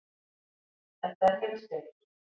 Þetta er heimspeki.